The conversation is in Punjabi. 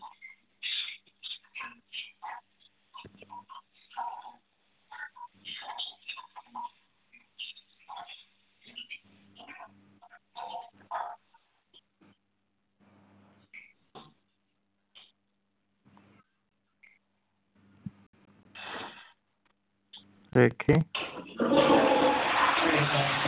ਵੇਖੀਂ